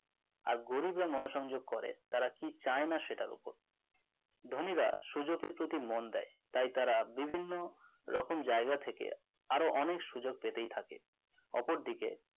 আর গরিবরা মন সংযোগ করে তারা কি চায় না সেটার উপর ধনীরা সুযোগের প্রতি মন দেয় তাই তারা বিভিন্ন রকম জায়গা থেকে আরো অনেক সুযোগ পেতে থাকে অপরদিকে